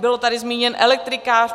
Byl tady zmíněn elektrikář.